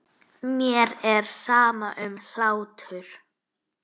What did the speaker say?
Mér er sama um hlátur.